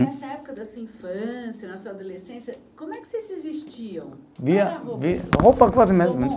Nessa época da sua infância, na sua adolescência, como é que vocês se vestiam? Roupa